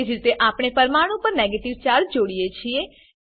તેજ રીતે આપણે આપણે પરમાણું પર નેગેટીવ ચાર્જ જોડીએ છીએ